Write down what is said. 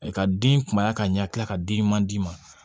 Ka den kunya ka ɲɛ ka di ɲuman d'i ma